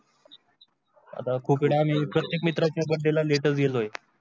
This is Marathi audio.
आता खूप प्रत्येक मित्रा च्या बड्डेला लेट गेलोय.